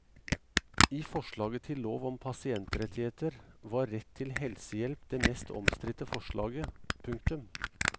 I forslaget til lov om pasientrettigheter var rett til helsehjelp det mest omstridte forslaget. punktum